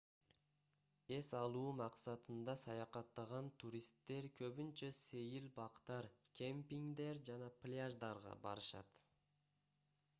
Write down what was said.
эс алуу максатында саякаттаган туристтер көбүнчө сейил бактар кемпингдер жана пляждарга барышат